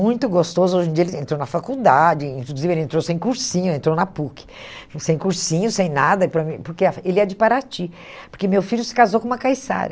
muito gostoso, hoje em dia ele entrou na faculdade, inclusive ele entrou sem cursinho, entrou na PUC, sem cursinho, sem nada, para mim porque a ele é de Paraty, porque meu filho se casou com uma caiçara.